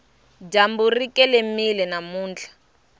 dyambu ri kelemile namuntlha